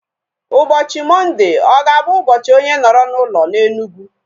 Ụbọchị Mọnde ọ ga-abụ ụbọchị onye nọrọ n'ụlọ na Enugu?